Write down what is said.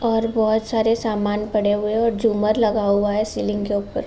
और बोहोत सारे समान पड़े हुए हैं और झूमर लगा हुआ है सीलिंग के ऊपर।